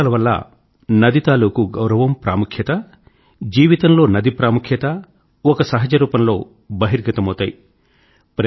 పుష్కరాల వల్ల నది తాలూకు గౌరవం ప్రాముఖ్యత జీవితంలో నది ప్రాముఖ్యత ఒక సహజరూపంలో బహిర్గతమవుతాయి